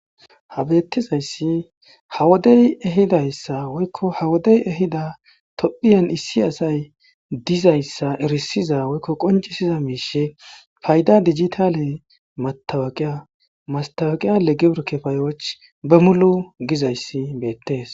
habeettizayssi ha wodey ehidayssa woykko ha wodey ehida tophiyan issi asay dizayssa erisiza woykko qoncisiza miishe payda dijitale matawaqiya mastawaqiya leggeir kepayoch bemulu gizayssi beettees